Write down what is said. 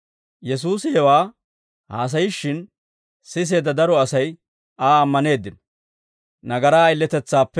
Yesuusi hewaa haasayishshin siseedda daro Asay Aa ammaneeddino.